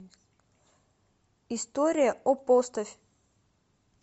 история о поставь